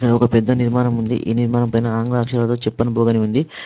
ఇక్కడ ఒక పెద్ద నిర్మాణం ఉంది. ఈ నిర్మాణం పైన ఆంగ్ల అక్షరాలతో చప్పన్ భోగ్ అని ఉంది.